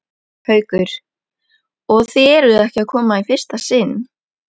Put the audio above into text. Haukur: Og þið eruð ekki að koma í fyrsta sinn?